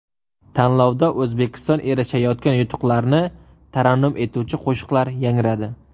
Tanlovda O‘zbekiston erishayotgan yutuqlarni tarannum etuvchi qo‘shiqlar yangradi.